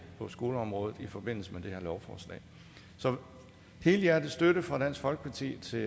på skoleområdet i forbindelse med det her lovforslag så helhjertet støtte fra dansk folkeparti til